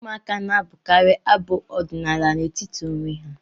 Ụmụaka na-abụkarị abụ ọdịnaala n'etiti onwe ha